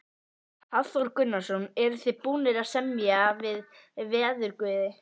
Hafþór Gunnarsson: Eruð þið búnir að semja við veðurguði?